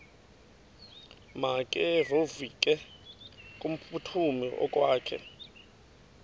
makevovike kumphuthumi okokwakhe